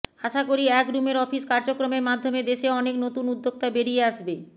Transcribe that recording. আশা করি এক রুমের অফিস কার্যক্রমের মাধ্যমে দেশে অনেক নতুন উদ্যোক্তা বেরিয়ে আসবে